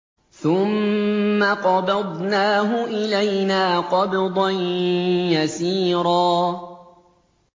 ثُمَّ قَبَضْنَاهُ إِلَيْنَا قَبْضًا يَسِيرًا